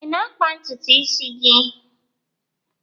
Ị na-akpa ntutu isi gị?